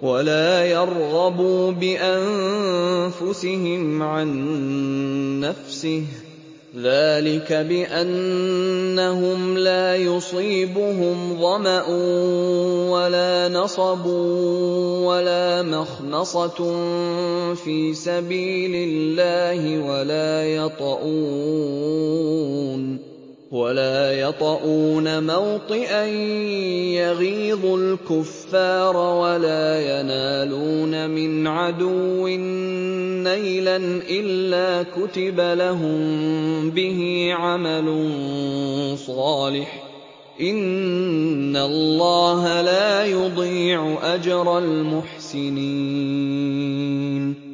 وَلَا يَرْغَبُوا بِأَنفُسِهِمْ عَن نَّفْسِهِ ۚ ذَٰلِكَ بِأَنَّهُمْ لَا يُصِيبُهُمْ ظَمَأٌ وَلَا نَصَبٌ وَلَا مَخْمَصَةٌ فِي سَبِيلِ اللَّهِ وَلَا يَطَئُونَ مَوْطِئًا يَغِيظُ الْكُفَّارَ وَلَا يَنَالُونَ مِنْ عَدُوٍّ نَّيْلًا إِلَّا كُتِبَ لَهُم بِهِ عَمَلٌ صَالِحٌ ۚ إِنَّ اللَّهَ لَا يُضِيعُ أَجْرَ الْمُحْسِنِينَ